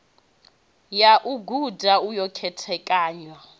ya u guda yo khethekanywa